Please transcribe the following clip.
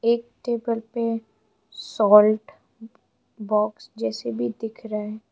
एक टेबल पे salt box जैसे भी दिख रहे है।